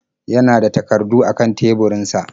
Ya na da takardu a kan teburinsa.